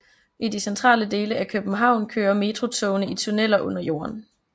I de centrale dele af København kører metrotogene i tunneler under jorden